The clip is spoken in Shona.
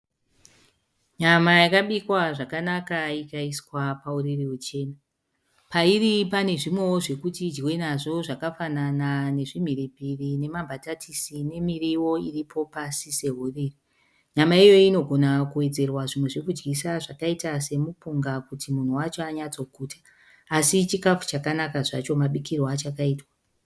Nyama yakabikwa zvakanaka ikaiswa pauriri huchena. Pairi pane zvimwewo zvekuti idyiwe nazvo zvakafanana nezvimhiripiri nemambatatisi nemiriwo iripo pasi sehuriri. Nyama iyoyi inogona kuwedzerwa zvimwe zvekudyisa zvakaita semupunga kuti munhu wacho anyatsoguta. Asi chikafu chakanaka zvacho mabikirwo achakaitwa.